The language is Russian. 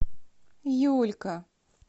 юлька